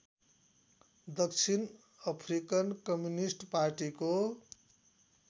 दक्षिण African communist पार्टीको